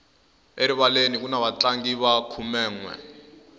erivaleni kuni vatlangi va khumenwe